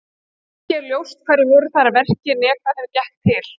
Ekki er ljóst hverjir voru þar að verki né hvað þeim gekk til.